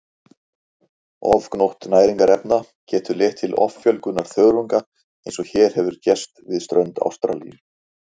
Ofgnótt næringarefna getur leitt til offjölgunar þörunga eins og hér hefur gerst við strönd Ástralíu.